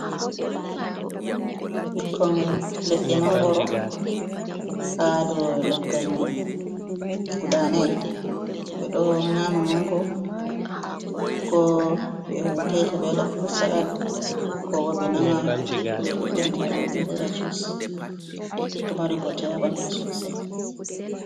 Ɓikkon leɗɗe mangoro ha dou leggal mai guda nai, ɓe ɗo nyama mango ko ɓe taita ɓe waɗa frud salad, ko ɓe nama ɓe biɗɗa ndiyam man ɓe waɗira jus, ɗo mari bote ha ɓanɗu sosai.